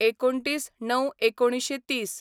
२९/०९/१९३०